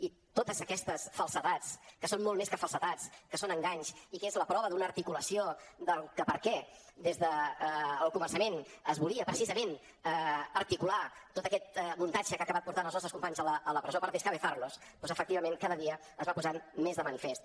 i totes aquestes falsedats que són molt més que falsedats que són enganys i que és la prova d’una articulació del perquè des del començament es volia precisament articular tot aquest muntatge que ha acabat portant els nostres companys a la presó per descabezarlos doncs efectivament cada dia es van posant més de manifest